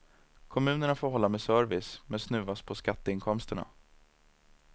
Kommunerna får hålla med service men snuvas på skatteinkomsterna.